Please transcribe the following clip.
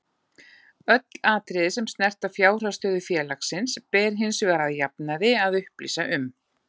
Öll atriði sem snerta fjárhagsstöðu félagsins ber hins vegar að jafnaði að upplýsa um.